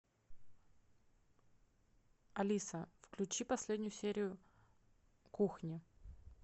алиса включи последнюю серию кухни